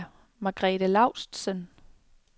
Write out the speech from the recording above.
Margrethe Laustsen